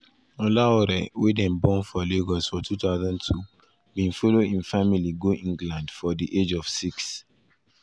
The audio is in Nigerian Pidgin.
olaore wey dem born for lagos for 2002 bin follow im family go england for di age of six.